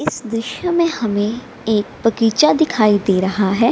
इस दृश्य में हमें एक बगीचा दिखाई दे रहा है।